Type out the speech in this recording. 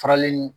Faralen